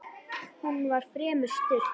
Hún var fremur stutt.